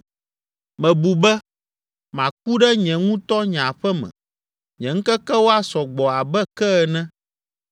“Mebu be, ‘Maku ɖe nye ŋutɔ nye aƒe me, nye ŋkekewo asɔ gbɔ abe ke ene.